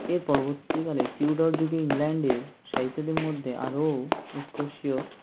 এর পরবর্তী কালে টিউডার যুগে ইংল্যান্ডে সাহিত্যদের মধ্যে আরও উৎকর্ষিয়